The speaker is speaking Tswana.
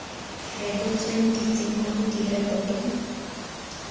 rebotsweng di tsenngwa mo direkotong